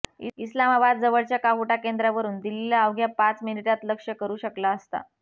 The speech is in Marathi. इस्लामाबाद जवळच्या काहुटा केंद्रावरून दिल्लीला अवघ्या पाच मिनिटांत लक्ष्य करू शकला असता